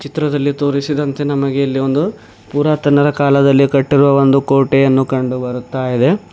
ಚಿತ್ರದಲ್ಲಿ ತೋರಿಸಿದಂತೆ ನಮಗೆ ಇಲ್ಲಿ ಒಂದು ಪುರಾತನರ ಕಾಲದಲ್ಲಿ ಕಟ್ಟಿರುವ ಒಂದು ಕೋಟೆಯನ್ನು ಕಂಡು ಬರುತ್ತಾ ಇದೆ.